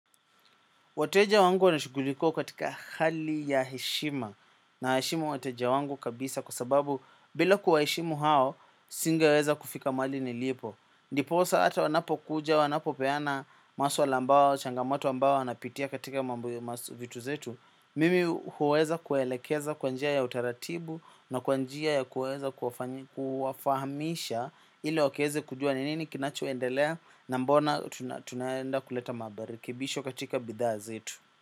Wateja wangu wanashugulikiwa katika hali ya heshima naheshimu wateja wangu kabisa kwa sababu bila kuwaheshimu hao singeweza kufika mahali nilipo. Ndiposa hata wanapokuja wanapopeana maswala ambayo, changamoto ambayo wanapitia katika mambo ya masu vitu zetu. Mimi huweza kuwaelekeza kwa njia ya utaratibu na kwa njia ya kuweza kuwafahamisha ili wakaweze kujua ni nini kinachoendelea na mbona tunaenda kuleta marekebisho katika bidhaa zetu.